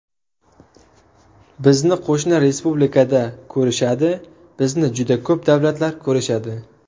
Bizni qo‘shni respublikada ko‘rishadi, bizni juda ko‘p davlatlar ko‘rishadi.